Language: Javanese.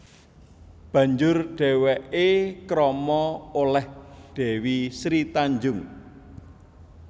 Banjur dhèwèké krama olèh Dèwi Sri Tanjung